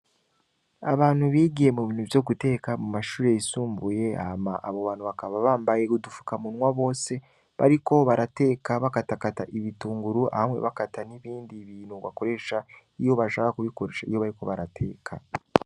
Abantu bigiye mu bintu vyo guteka mu mashuri yisumbuye ama abo bantu bakaba bambaye gudufuka munwa bose bariko barateka bakatakata ibitunguru hamwe bakata n'ibindi bintu ngo bakoresha iyo bashaka kubikoresha iyo bariko barateka.